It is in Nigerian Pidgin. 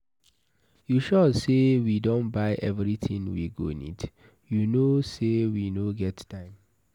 You sure say we don buy everything we go need, you no say we no get time.